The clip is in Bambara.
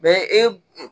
e